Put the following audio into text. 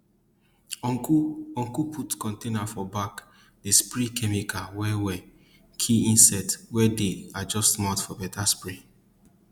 uncle uncle put container for back dey spray chemical well well kill insect well dey adjust mouth for better spray